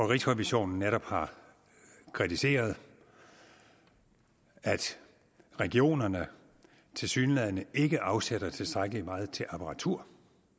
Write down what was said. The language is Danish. rigsrevisionen netop kritiseret at regionerne tilsyneladende ikke afsætter tilstrækkelig meget til apparatur